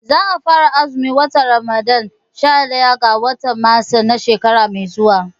Za a fara azumin watan Ramadan sha ɗaya ga watan Maris na shekara mai zuwa